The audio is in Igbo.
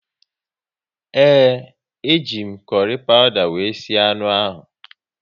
Ee, e ji m kurry pawuda wéré sie anụ ahụ